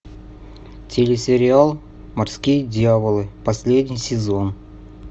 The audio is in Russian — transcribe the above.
телесериал морские дьяволы последний сезон